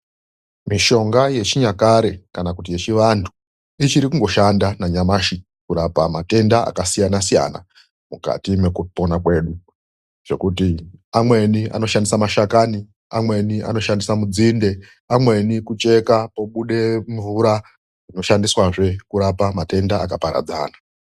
Mishonga yechinyakare kana kuti yechivantu ichiri kungoshanda nanyamashi kurapa matenda akasiyana-siyana mukati mekupona kwedu. Zvekuti amweni anoshandisa mashakani, amweni anoshandisa nzinde amweni kucheka pobuda mvura, oshandiswazve kurapa matenda akaparadzana.